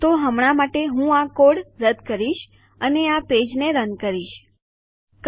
તો હમણાં માટે હું આ કોડ રદ કરીશ અને આ પેજ રન કરીશ ઠીક છે